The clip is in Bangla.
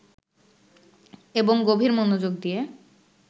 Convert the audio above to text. এবং গভীর মনোযোগ দিয়ে